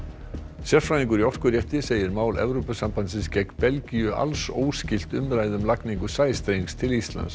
sérfræðingur í segir mál Evrópusambandsins gegn Belgíu alls óskylt umræðu um lagningu sæstrengs til Íslands